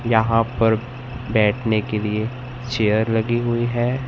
यहां पर बैठने के लिए चेयर लगी हुई है।